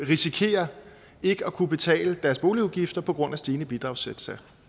risikerer ikke at kunne betale deres boligudgifter på grund af stigende bidragssatser